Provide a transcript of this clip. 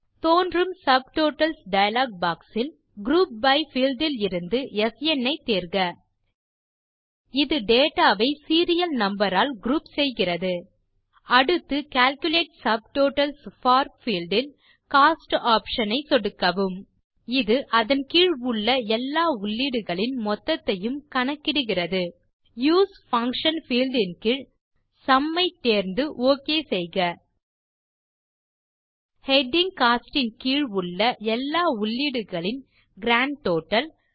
தோன்றும் subtotals dialogue box இல் group by field இலிருந்து ஸ்ன் ஐ தேர்க இது டேட்டா வை சீரியல் நம்பர் ஆல் குரூப் செய்கிறது அடுத்து கால்குலேட் சப்டோட்டல்ஸ் போர் பீல்ட் இல் கோஸ்ட் ஆப்ஷன் ஐ சொடுக்கவும் இது அதன் கீழ் உள்ள எல்லா உள்ளீடுகளின் மொத்தத்தையும் கணக்கிடுகிறது யூஎஸ்இ பங்ஷன் பீல்ட் இன் கீழ் சும் ஐ தேர்ந்து ஒக் செய்க ஹெடிங் கோஸ்ட் இன் கீழ் உள்ள எல்லா உள்ளீடுகளின் கிராண்ட் டோட்டல்